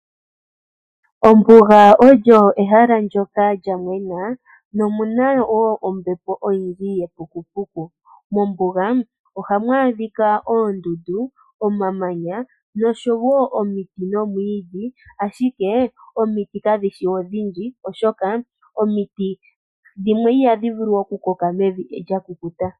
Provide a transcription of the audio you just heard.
Ombuga olyo ehala ndoka lya mwena nomuna wo ombepo ndjoka oyindji yepukupuku. Mombuga ohamu adhika wo oondundu, noshowo omiti nomwiidhi, ashike omiti dhimwe ihadhi vulu oku koka mombuga oshoka omiti dhimwe ihadhi vulu oku koka mevi kya kukuta.